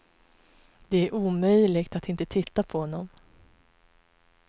Det är omöjligt att inte titta på honom.